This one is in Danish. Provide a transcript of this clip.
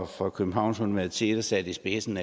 fra københavns universitet i spidsen